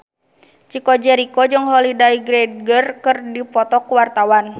Chico Jericho jeung Holliday Grainger keur dipoto ku wartawan